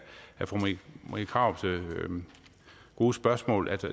fru marie krarups gode spørgsmål